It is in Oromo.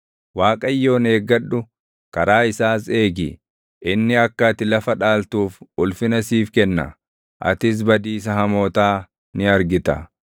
Waaqayyoon eeggadhu; karaa isaas eegi. Inni akka ati lafa dhaaltuuf ulfina siif kenna; atis badiisa hamootaa ni argita.